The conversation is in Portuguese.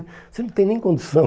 Você não tem nem condição.